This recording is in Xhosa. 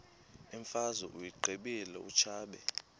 imfazwe uyiqibile utshaba